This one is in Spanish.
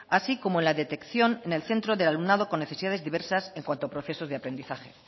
así como la detección en el centro del alumnado con necesidades diversas en cuanto a procesos de aprendizaje